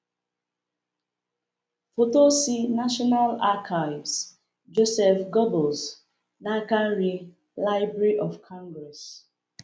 Foto si National Archives; Joseph Göbbels, n’aka nri: Library of Congress